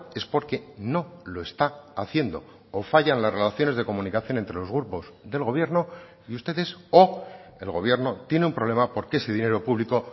es porque no lo está haciendo o fallan las relaciones de comunicación entre los grupos del gobierno y ustedes o el gobierno tiene un problema porque ese dinero público